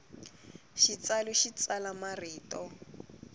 xitsalu xi tsala marito